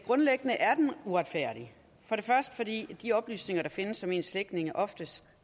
grundlæggende er den uretfærdig for det første vil de oplysninger der findes om ens slægtninge oftest